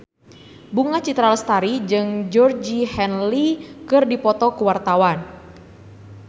Bunga Citra Lestari jeung Georgie Henley keur dipoto ku wartawan